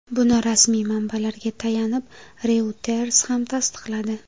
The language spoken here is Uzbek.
Buni rasmiy manbalarga tayanib, Reuters ham tasdiqladi.